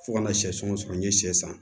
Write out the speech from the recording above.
Fo kana sɛso sɔrɔ n ye sɛ san